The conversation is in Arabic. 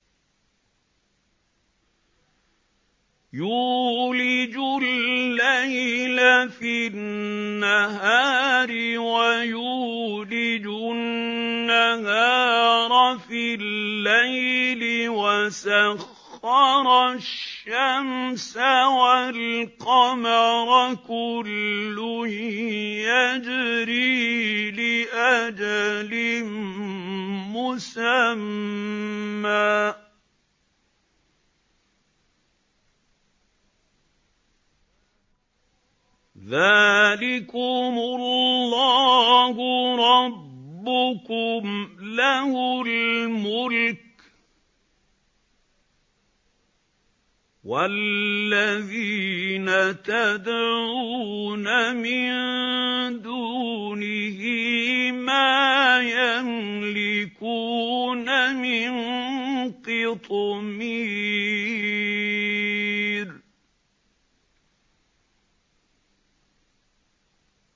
يُولِجُ اللَّيْلَ فِي النَّهَارِ وَيُولِجُ النَّهَارَ فِي اللَّيْلِ وَسَخَّرَ الشَّمْسَ وَالْقَمَرَ كُلٌّ يَجْرِي لِأَجَلٍ مُّسَمًّى ۚ ذَٰلِكُمُ اللَّهُ رَبُّكُمْ لَهُ الْمُلْكُ ۚ وَالَّذِينَ تَدْعُونَ مِن دُونِهِ مَا يَمْلِكُونَ مِن قِطْمِيرٍ